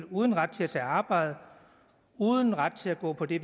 uden ret til at tage arbejde uden ret til at gå på det